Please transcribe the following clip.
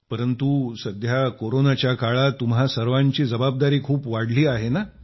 परंतु सध्या कोरोनाच्या काळात तुम्हा सर्वांची जबाबदारी खूप वाढली आहे ना